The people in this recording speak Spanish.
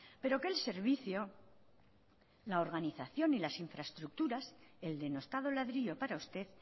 pero que el servicio la organización y las infraestructuras el denostado ladrillo para usted